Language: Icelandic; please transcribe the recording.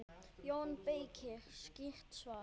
JÓN BEYKIR: Skýrt svar!